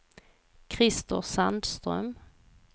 Krister Sandström